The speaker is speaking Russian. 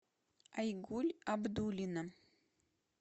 айгуль абдуллина